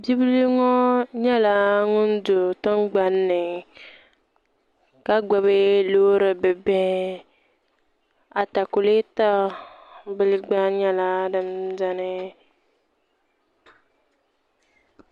bibil ŋo nyɛla ŋun do tingbanni ka gbubi loori bibihi atakulɛta bili gba nyɛla din biɛni